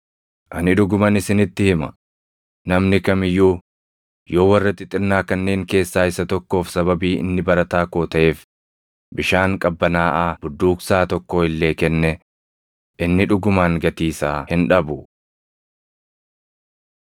Ani dhuguman isinitti hima; namni kam iyyuu yoo warra xixinnaa kanneen keessaa isa tokkoof sababii inni barataa koo taʼeef bishaan qabbanaaʼaa budduuqsaa tokkoo illee kenne, inni dhugumaan gatii isaa hin dhabu.”